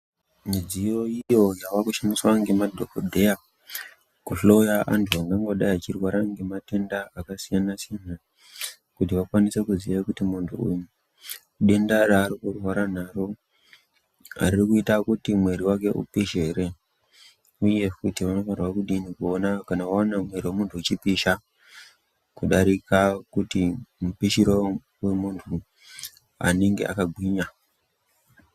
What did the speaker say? Midziyo iyo yava kushandisa ngemadhokodheya kuhloya antu ayo angangodai achirwara nematenda akasiyana-siyana kuti akwanise kuziya kuti muntu uyu denda raari kurwara naro riri kuita kuti muwiri wake upishe here uye kuti unofanirwa kudini kuona kana waona muwiri wemunhu uchipisha kudarika kuti mupishiro womunhu anenga akagwinya.